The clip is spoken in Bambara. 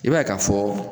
I b'a ye ka fɔ